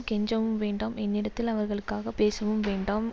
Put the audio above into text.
கெஞ்சவும் வேண்டாம் என்னிடத்தில் அவர்களுக்காகப் பேசவும் வேண்டாம்